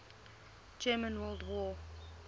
german world war